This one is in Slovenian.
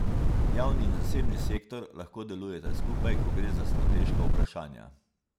Javni in zasebni sektor lahko delujeta skupaj, ko gre za strateška vprašanja.